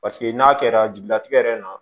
Paseke n'a kɛra jigilatigɛ yɛrɛ na